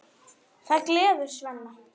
Það gleður Svenna.